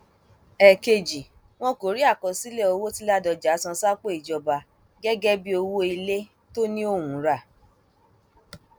ẹẹkejì wọn kò rí àkọsílẹ owó tí ládọjà san sápò ìjọba gẹgẹ bíi owó ilé tó ní òun rà